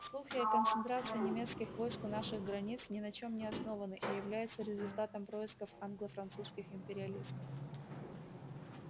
слухи о концентрации немецких войск у наших границ ни на чем не основаны и являются результатом происков англо французских империалистов